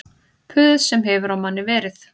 Puð sem hefur á manni verið